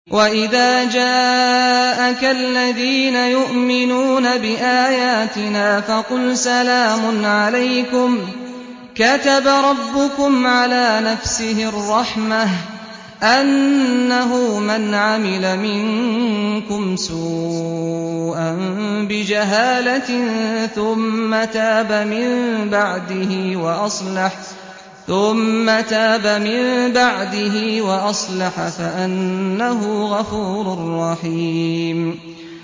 وَإِذَا جَاءَكَ الَّذِينَ يُؤْمِنُونَ بِآيَاتِنَا فَقُلْ سَلَامٌ عَلَيْكُمْ ۖ كَتَبَ رَبُّكُمْ عَلَىٰ نَفْسِهِ الرَّحْمَةَ ۖ أَنَّهُ مَنْ عَمِلَ مِنكُمْ سُوءًا بِجَهَالَةٍ ثُمَّ تَابَ مِن بَعْدِهِ وَأَصْلَحَ فَأَنَّهُ غَفُورٌ رَّحِيمٌ